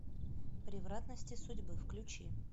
превратности судьбы включи